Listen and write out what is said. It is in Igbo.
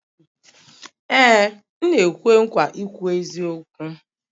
Ee m na-ekwe nkwa ikwu eziokwu